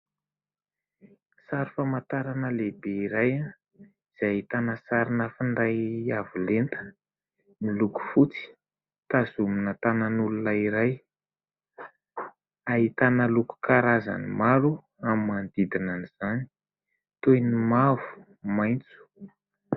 Sary famantarana lehibe iray izay ahitana sarina finday avolenta miloko fotsy ; tazomina tànan'olona iray. Ahitana loko karazany maro amin'ny manodidinan'izany, toy ny mavo, maitso.